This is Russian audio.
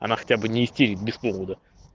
она хотя бы не истерит без повода